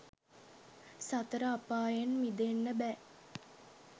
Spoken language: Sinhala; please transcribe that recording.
සතර අපායෙන් මිදෙන්න බෑ.